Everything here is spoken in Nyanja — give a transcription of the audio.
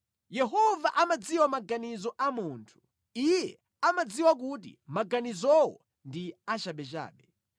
Yehova amadziwa maganizo a munthu; Iye amadziwa kuti maganizowo ndi achabechabe.